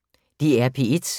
DR P1